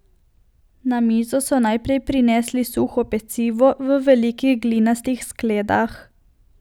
Na mizo so najprej prinesli suho pecivo v velikih glinastih skledah.